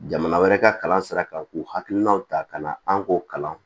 Jamana wɛrɛ ka kalan sira kan k'u hakilinaw ta ka na an k'o kalan